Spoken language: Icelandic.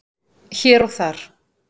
Hér og þar